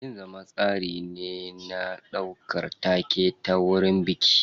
Yin zama tsari ne na ɗaukar take ta wurin biki.